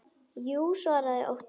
Jú, svaraði Otti.